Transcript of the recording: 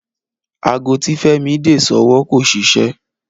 Aago tí Fẹ́mi dè sọ́wọ́ kò ṣiṣẹ́